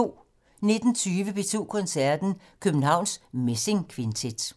19:20: P2 Koncerten - Københavns Messingkvintet